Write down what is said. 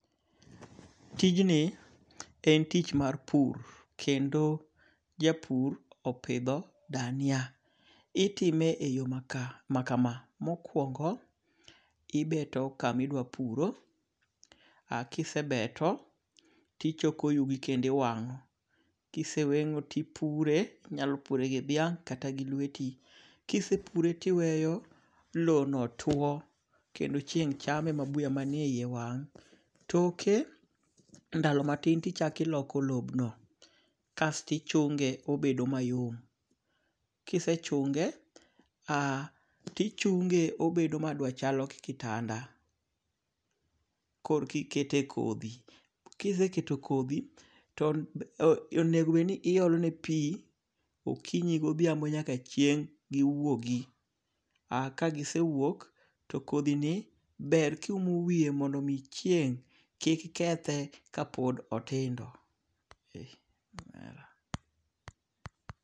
Tijni en tich mar pur kendo japur opidho dania. Itime e yo makama. Mokwongo, ibeto kami dwa puro. Kisebeto tichoko yugi kendo iwang'o. Kiseweng'o tipure. Inyalo pure gi dhiang' kata gi lweti. Kisepure tiweyo low no tuo kendo chieng' chame ma buye manieyiye wang'. Toke ndalo matin tichakiloko lobno. Kaesto ichunge tobedo mayom. Kisechunge tichunge obedo madwachalo gi kitanda. Kor ki kete kodhi. Kiseketo kodhi to onego bed ni iolone pi okinyi godhiambo nyaka chieng' giwuogi. Ka gisewuok to kodhi ni ber ki umo wiye mondo chieng' kik kethe ka pod otindo.